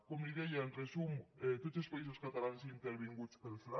com li deia en resum tots els països catalans intervinguts pel fla